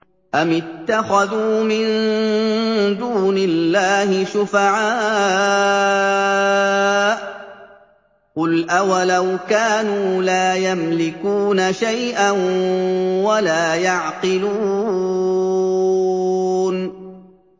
أَمِ اتَّخَذُوا مِن دُونِ اللَّهِ شُفَعَاءَ ۚ قُلْ أَوَلَوْ كَانُوا لَا يَمْلِكُونَ شَيْئًا وَلَا يَعْقِلُونَ